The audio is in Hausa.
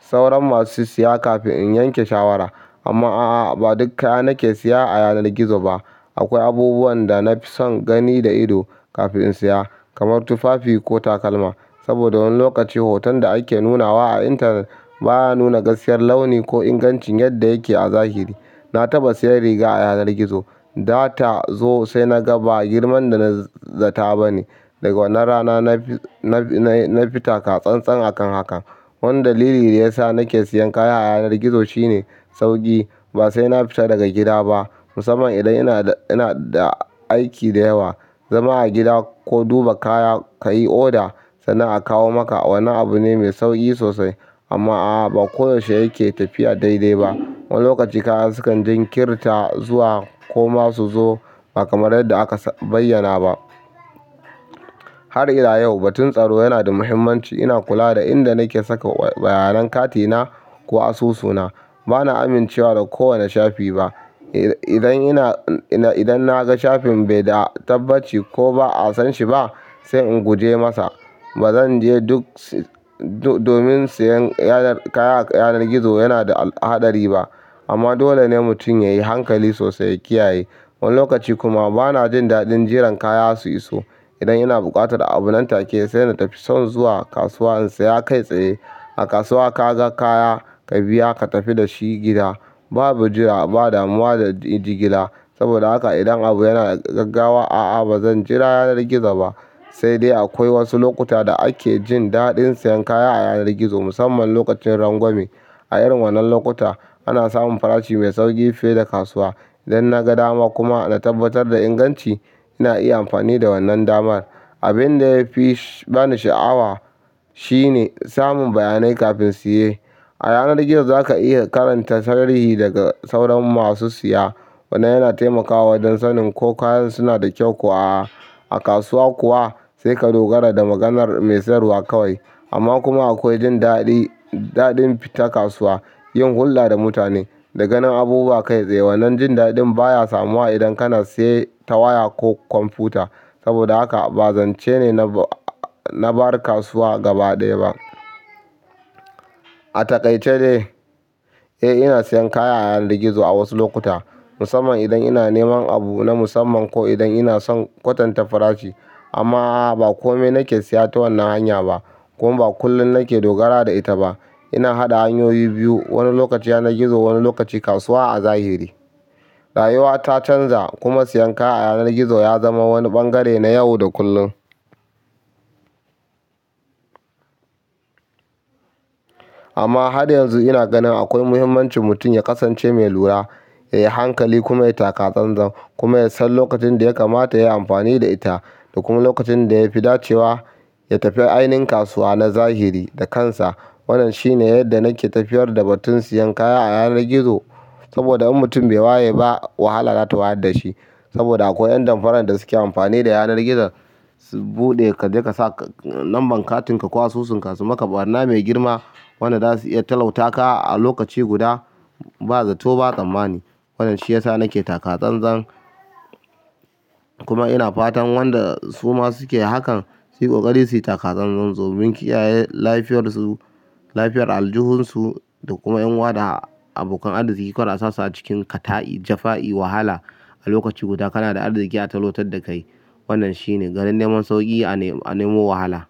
sauran masu siya kafin in yanke shawara. Amma a'a ba duk kaya nake siya a yanar gizo ba. Akwai abubuwan da na fi son gani da ido kafin in siya, kamar tufafi ko takalma. Saboda wani lokaci hoton da ake nunawa a intanet baya nuna gaskiyar launi ko ingancin yadda yake a zahiri. Na taɓa siyan riga a yanar gizo, data zo sai na ga ba girman da na zata ba ne. Daga wannan rana na fi-na fi na fi taka-tsan-tsan akan hakan. Wani dalili da yasa nake siyan kaya a yanar gizo shine sauƙi. Ba sai na fita daga gida ba. Musamman idan ina da aiki da yawa zama a gida ko duba kaya ka yi oda sannan a kawo maka wannan abu ne mai sauƙi sosai. Amma a'a ba koyaushe yake tafiya daidai ba. Wani lokaci kaya sukan jinkirta zuwa ko ma su zo ba kamar yadda aka bayyana ba. Har ila yau, batun tsaro yana da muhimmanci ina kula da inda nake saka bayanan katina ko asusuna. Bana amincewa da kowane shafi ba. Idan ina, idan na ga shafin bai da tabbaci ko ba'a san shi ba, sai in guje masa. Ba zan je duk si-- do-domin siyan yanar kaya a yanar gizo yana da haɗari ba. Amma dole ne mutum yayi hankali sosai ya kiyaye. Wani lokaci kuma bana jin daɗin jiran kaya su iso. Idan ina buƙatar abu nan take sai na tafi can zuwa kasuwa in siya kai tsaye. A kasuwa ka ga kaya ka biya ka tafi da shi gida. Babu jira, ba damuwa da jigila. Saboda haka idan abu yana gaggawa, a'a ba zan jira yanar gizo ba. Sai dai akwai wasu lokuta da ake jin daɗin siyan kaya a yanar gizo musamman lokacin rangwame. A irin wannan lokuta ana samun farashi mai sauƙi fiye da kasuwa. Idan naga dama kuma, na tabbatar da inganci ina iya amfani da wannan damar. Abin da ya fi bani sha'awa shine samun bayanai kafin siye. A yanar gizo za ka iya karanta sarari daga sauran masu siya. Wannan yana taimakawa don sanin ko kayan suna da kyau ko a'a. A kasuwa kuwa sai ka dogara da maganar mai sayarwa kawai. Amma kuma akwai jin daɗi, daɗin fita kasuwa, yin hulɗa da mutane da ganin abubuwa kai tsaye. Wannan jin daɗin baya samuwa idan kana siye ta waya ko kwamfuta. Saboda haka ba zance ne na, na bar kasuwa gabaɗaya ba. A taƙaice dai, eh ina siyan kaya a yanar gizo a wasu lokuta musamman idan ina neman abu na musamman ko idan ina son kwatanta farashi. Amma a'a ba komai nake siya ta wannan hanya ba kuma ba kullum nake dogara da ita ba. Ina haɗa hanyoyi biyu, wani lokaci yanar gizo wani lokacin kasuwa a zahiri. Rayuwa ta canza kuma siyan kaya a yanar gizo ya zama wani ɓangare na yau da kullum. Amma har yanzu ina ganin akwai muhimmancin mutum ya kasance mai lura, yayi hankali kuma ya yi taka tsantsan kuma ya san lokacin da ya kamata yayi amfani da ita da kuma lokacin da ya fi dacewa ya tafi ainihin kasuwa na zahiri da kansa. Wannan shine yadda nake tafiyar da batun siyan kaya a yanar gizo. Saboda in mutum bai waye ba wahala za ta wayar da shi. Saboda akwai 'yan damfarar da suke amfani da yanar gizo su buɗe ka je ka sa lambar katinka ko asusunka su maka ɓarna mai girma. Wanda za su iya talauta ka a lokaci guda ba zato ba tsammani. Wannan shi ya sa nake taka tsantsan kuma ina fatan wanda su ma suke hakan su yi ƙoƙari su yi taka tsantsan domin kiyaye lafiyar su, lafiyar aljihun su da kuma 'yan uwa da abokan arzikin su ko asusu a cikin kata'i, jafa'i, wahala a lokaci guda kana da arziki a talautar da kai. Wannan shine garin neman sauƙi a nemo wahala.